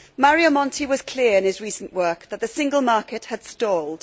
Mario Monti was clear in his recent work that the single market had stalled.